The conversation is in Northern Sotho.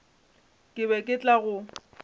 ke be ke tla go